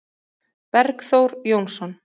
Bergþór Jónsson